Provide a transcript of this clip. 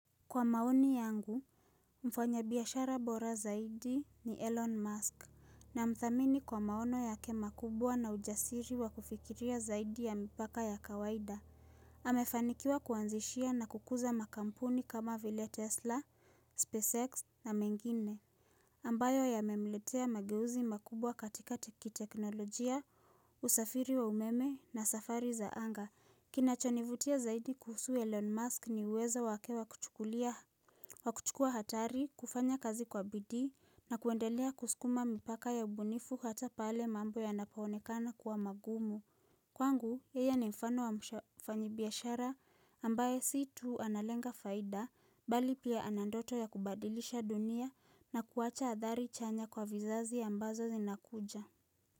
Kwa maoni yangu, mfanya biashara bora zaidi ni Elon Musk Namthamini kwa maono yake makubwa na ujasiri wa kufikiria zaidi ya mipaka ya kawaida amefanikiwa kuanzishia na kukuza makampuni kama vile Tesla, SpaceX na mengine ambayo yamemletea mageuzi makubwa katika teknolojia, usafiri wa umeme na safari za anga Kinachonivutia zaidi kuhusu Elon Musk ni uwezo wake wa kuchukua hatari, kufanya kazi kwa bidii na kuendelea kusukuma mipaka ya ubunifu hata pale mambo yanapaonekana kuwa magumu Kwangu, yeye ni mfano wa mfanyibiashara ambaye si tu analenga faida, bali pia ana ndoto ya kubadilisha dunia na kuwacha athari chanya kwa vizazi ambazo zinakuja.